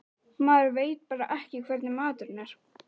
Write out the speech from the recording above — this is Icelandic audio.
Maður veit bara ekki hvernig maturinn er.